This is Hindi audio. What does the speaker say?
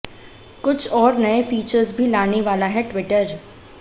कुछ और नए फीचर्स भी लाने वाला है ट्विटर